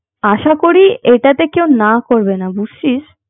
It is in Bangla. আশা করি এটা তে কেউ না করবে না বুঝছিস